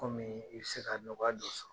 Komii i be se ka nɔgɔya do sɔrɔ.